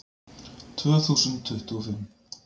Tvö þúsund tuttugu og fimm